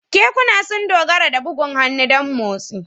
Kekuna sun dogara da bugun hannu don motsi.